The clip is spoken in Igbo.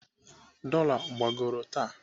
Dola gbagoro taa.